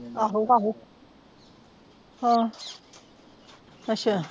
ਆਹੋ ਆਹੋ ਹਾ ਅੱਛਾ